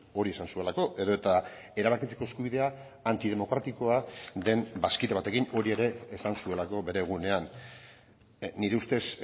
hori esan zuelako edota erabakitzeko eskubidea antidemokratikoa den bazkide batekin hori ere esan zuelako bere egunean nire ustez